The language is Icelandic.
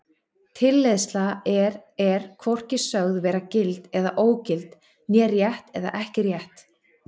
Tilleiðsla er er hvorki sögð vera gild eða ógild né rétt eða ekki rétt.